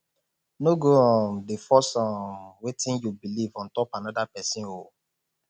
no go um dey force um wetin yu belief on top anoda pesin o